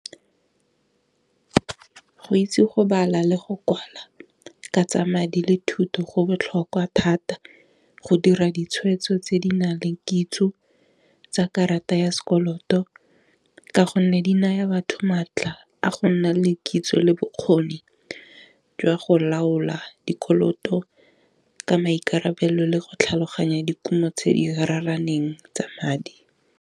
Go itse go bala le go kwala ka tsa madi le thuto go botlhokwa thata go dira ditshwetso tse di nang le kitso tsa karata ya sekoloto, ka gonne di naya batho maatla a go nna le kitso le bokgoni jwa go laola dikoloto ka maikarabelo le go tlhaloganya dikumo tse di raraneng tsa madi.